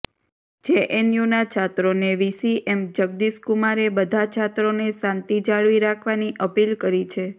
જેએનયુના છાત્રોને VC M Jagdish કુમારે બધા છાત્રોને શાંતિ જાળવી રાખવાની અપીલ કરી